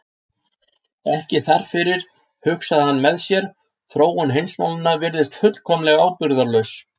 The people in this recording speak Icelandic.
Ekki þar fyrir, hugsaði hann með sér, þróun heimsmálanna virðist fullkomlega ábyrgðarlaus.